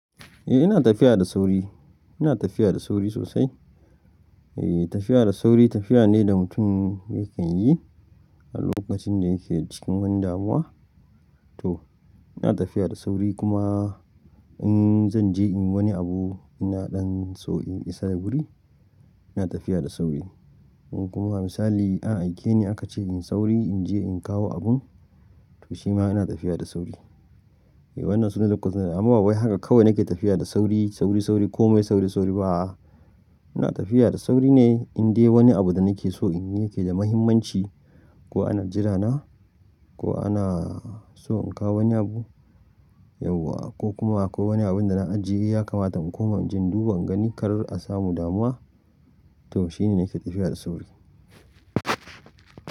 Eh ina tafiya da sauri, ina tafiya da sauri sosai. Eh tafiya da sauri tafiya ne da mutum yakan yi a lokacin da yake cikin wani damuwa. To ina tafiya da sauri kuma in zan je inyi wani abu ina dan so in isa da wuri ina tafiya da sauri. Kuma misali an aike ni aka ce in sauri in je in kawo abun to shima ina tafiya da sauri. Wannan sunan lokuta amma babu wai haka kawai nake tafiya da sauri, sauri, sauri komai sauri, sauri ba'a. Ina tafiya da sauri ne in dai wani abu da nake so in yi yake da mahimmanci ko ana jirana ko ana so in kawo wani abu yauwa ko kuma akwai wani abun da na ajiye ya kamata in koma jinduba in gani kar a samu damuwa to shine nake tafiya da sauri.